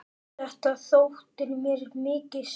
Þetta þótti mér mikið sport.